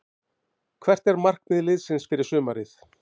Hvert er markmið liðsins fyrir sumarið?